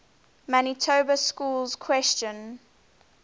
manitoba schools question